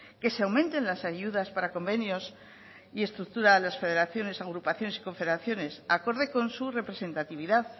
que se aumenten las ayudas para convenios y estructura a las federaciones agrupaciones y confederaciones acorde con su representatividad